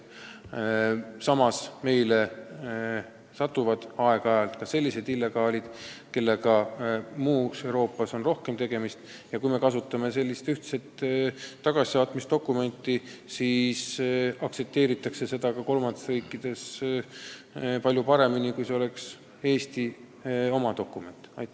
Samas satuvad meile ka aeg-ajalt sellised illegaalid, kellega on mujal Euroopas rohkem tegemist, ja ühtset tagasisaatmisdokumenti aktsepteeritakse kolmandates riikides palju paremini kui Eesti oma dokumenti.